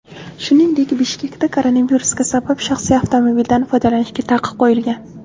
Shuningdek, Bishkekda koronavirus sabab shaxsiy avtomobildan foydalanishga taqiq qo‘yilgan .